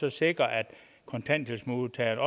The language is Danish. at sikre at kontanthjælpsmodtagerne